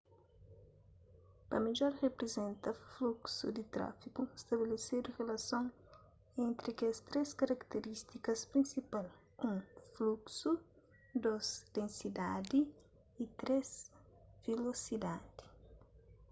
pa midjor riprizenta fluksu di trafigu stabilesidu rilasons entri kes três karatirístikas prinsipal: 1 fluksu 2 densidadi y 3 vilosidadi